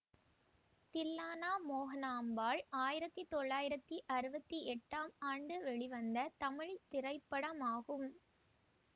தில்லானா மோகனாம்பாள் ஆயிரத்தி தொள்ளாயிரத்தி அறுபத்தி எட்டாம் ஆண்டு வெளிவந்த தமிழ் திரைப்படமாகும்